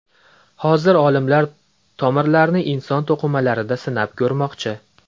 Hozirda olimlar tomirlarni inson to‘qimalarida sinab ko‘rmoqchi.